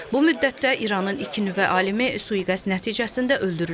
Bu müddətdə İranın iki nüvə alimi sui-qəsd nəticəsində öldürülüb.